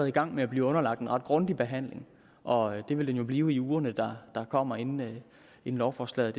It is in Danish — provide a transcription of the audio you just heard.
i gang med at blive underlagt en ret grundig behandling og det vil det nu blive i ugerne der kommer inden lovforslaget